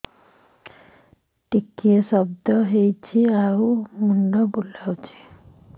ଟିକିଏ ସର୍ଦ୍ଦି ହେଇଚି ଆଉ ମୁଣ୍ଡ ବୁଲାଉଛି